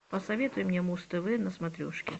посоветуй мне муз тв на смотрешке